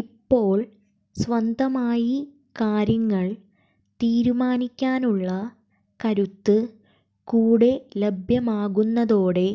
ഇപ്പോൾ സ്വന്തമായി കാര്യങ്ങൾ തീരുമാനിക്കാനുള്ള കരുത്ത് കൂടെ ലഭ്യമാകുന്നതോടെ